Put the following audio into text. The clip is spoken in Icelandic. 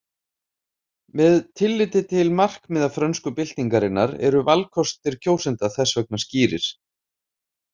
Með tilliti til markmiða frönsku byltingarinnar eru valkostir kjósenda þess vegna skýrir.